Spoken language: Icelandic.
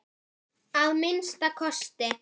Að minnsta kosti.